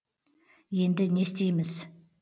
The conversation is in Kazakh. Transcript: енді не істейміз